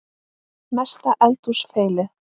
Mesta eldhús feilið?